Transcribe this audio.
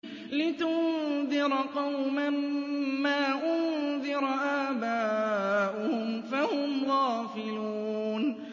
لِتُنذِرَ قَوْمًا مَّا أُنذِرَ آبَاؤُهُمْ فَهُمْ غَافِلُونَ